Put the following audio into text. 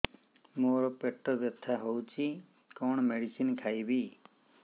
ମୋର ପେଟ ବ୍ୟଥା ହଉଚି କଣ ମେଡିସିନ ଖାଇବି